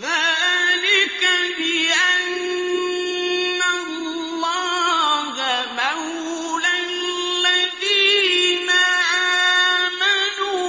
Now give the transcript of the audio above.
ذَٰلِكَ بِأَنَّ اللَّهَ مَوْلَى الَّذِينَ آمَنُوا